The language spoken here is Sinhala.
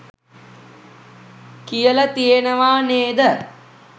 කියල තියනවා නේද?